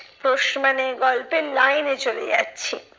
প্রশ্ন মানে গল্পের line এ চলে যাচ্ছি।